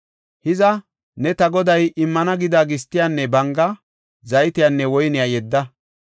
Hiza ne ta goday immana gida gistiyanne banga, zaytiyanne woyniya yedda.